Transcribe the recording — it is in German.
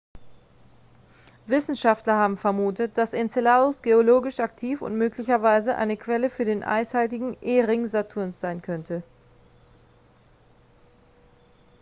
wissenschaftler haben vermutet dass enceladus geologisch aktiv und möglicherweise eine quelle für den eishaltigen e-ring saturns sein könnte